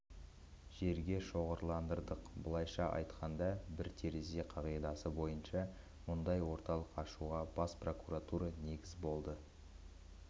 жерге шоғырландырдық былайша айтқанда бір терезе қағидасы бойынша мұндай орталық ашуға бас прокуратура негіз болды